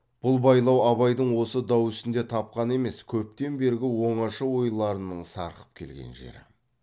бұл байлау абайдың осы дау үстінде тапқаны емес көптен бергі оңаша ойларының сарқып келген жері